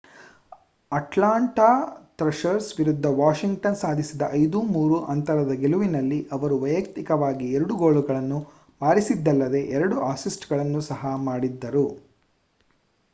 Atlanta Thrashers ವಿರುದ್ಧ Washington ಸಾಧಿಸಿದ 5-3 ಅಂತರದ ಗೆಲುವಿನಲ್ಲಿ ಅವರು ವೈಯಕ್ತಿಕವಾಗಿ 2 ಗೋಲುಗಳನ್ನು ಬಾರಿಸಿದ್ದಲ್ಲದೇ 2 ಅಸಿಸ್ಟ್‌ಗಳನ್ನು ಸಹ ಮಾಡಿದ್ದರು